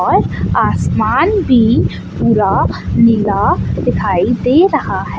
और आसमान भी पूरा नीला दिखाई दे रहा है।